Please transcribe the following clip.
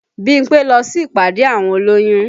Bímpé lọ sí ìpàdé àwọn olóyún